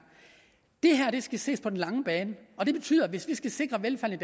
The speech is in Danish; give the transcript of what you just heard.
det skal ses på den lange bane og det betyder at hvis vi skal sikre velfærden